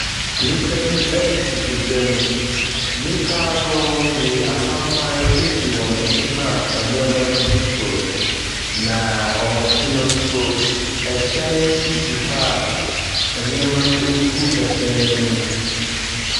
Nnipa bi tete edwa mu, nnipa nooo bi, apampa si wɔn anim a nneɛma gugu so. Na wɔn akyi no so, ɛhyɛn bi si hɔ a nneɛma gugu ɛhyɛn no mu.